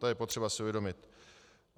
To je potřeba si uvědomit.